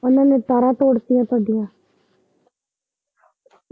ਉਨਾਂ ਨੇ ਤਾਰਾਂ ਤੋੜਤੀਆਂ ਤੋਡੀਆ।